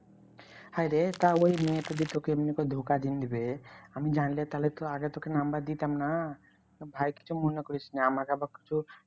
হায়রে তা ওই মেয়েতো যে তোকে এমনি করে ধোকা দিনদিবে আমি জানলে তাহলে তো আগে তোকে number দিতাম না। তো ভাই কিছু মনে করিস না আমাকে আবার কিছু